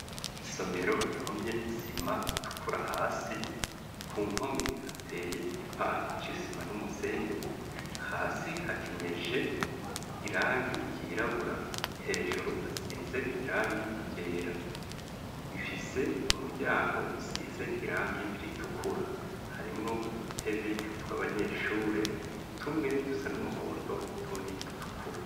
Isomero rihomye isima itukura hasi ku mpome hateye igipande c'isima n'umusenyi hasi hakenyeje irangi ryirabura hejuru hasize irangi ryera wifise umuryango usize irangi ritukura harimwo udutebe tw'abanyeshure tumwe dusa n'umuhondo utundi dutukura.